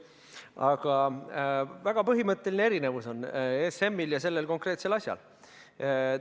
Aga väga põhimõtteline erinevus on ESM-il ja sellel konkreetsel asjal.